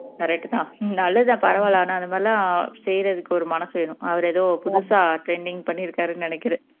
correct தான் நல்லது தான் பரவால்ல ஆனா இந்த மாதிரி எல்லாம் செய்யுறதுக்கு ஒரு மனசு வேணும் அவர் ஏதோ புதுசா trending பண்ணியிருக்காருன்னு நினைக்குறேன்